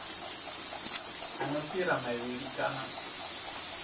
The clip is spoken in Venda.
a no fhira mavhili kana